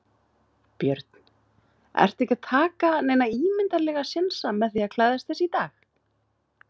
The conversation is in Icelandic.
Björn: Ertu ekki að taka neina ímyndarlega sénsa með því að klæðast þessu í dag?